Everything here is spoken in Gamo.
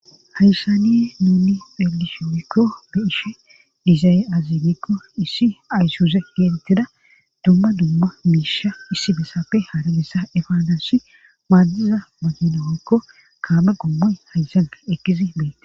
hayssaniye nuuni xelishin woyikko be'ishe dizay aze gikko issi ayssuze geetettida dumma dumma miisha issi besafe hara bessa efaansi maaddiza makina woyiko kaame gommoy hayssan eqidi beettes